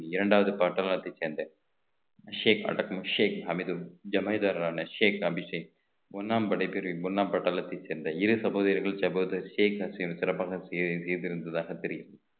இரண்டாவது பாட்டநாட்டை சேர்ந்த ஷேக் ஷேக் அமிதும் ஜமைதாரரான ஷேக் அபிஷேக் ஒண்ணாம் படை பிரிவு ஒண்ணாம் பட்டாளத்தை சேர்ந்த இரு சப வேர்கள் சகோதரர்கள் ஷேக் அபிஷேக் சகோதரர் சிறப்பாக செய்~ செய்திருந்ததாக தெரியும்